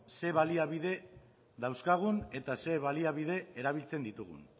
zein baliabide dauzkagun eta zein baliabide erabiltzen ditugun